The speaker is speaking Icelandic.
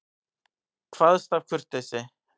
Kvaðst af kurteisi.